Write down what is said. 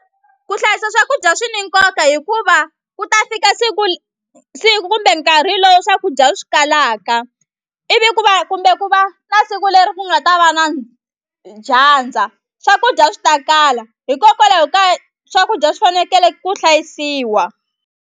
Ku hlayisa swakudya swi ni nkoka hikuva ku ta fika siku siku kumbe nkarhi lowu swakudya swi kalaka ivi ku va kumbe ku va na siku leri ku nga ta va na dyandza swakudya swi ta kala hikokwalaho kaya swakudya swi fanekele ku hlayisiwa.